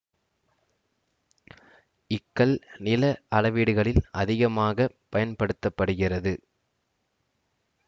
equal நில அளவீடுகளில் அதிகமாக பயன்படுத்த படுகிறது